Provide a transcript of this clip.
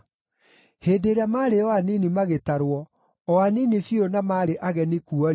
Hĩndĩ ĩrĩa maarĩ o anini magĩtarwo, o anini biũ, na maarĩ ageni kuo-rĩ,